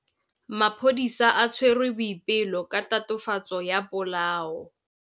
Maphodisa a tshwere Boipelo ka tatofatsô ya polaô.